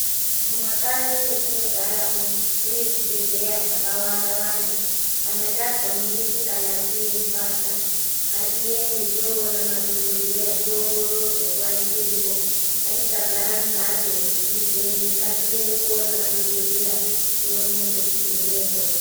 Mumakanyi mwetinogaramwo mune zvibhedhleya zvakawanda wanda. Kana tazwa mwiri isinganaki yeirwadza, ngatiende toona madhogodheya tiongororwe nguva ichiripo. Ngatisagara mumhatso nezvirwere. Ngatiende koona madhokodheya tionekwe, tivhenekwe.